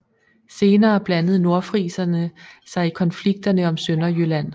Senere blandede nordfriserne sig i konflikterne om Sønderjylland